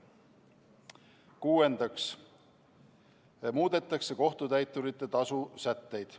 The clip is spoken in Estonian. Kuuendaks muudetakse kohtutäiturite tasu sätteid.